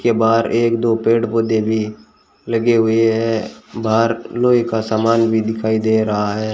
के बाहर एक दो पेड़ पौधे भी लगे हुए हैं बाहर लोहे का सामान भी दिखाई दे रहा है।